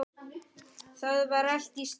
Það var allt í steik.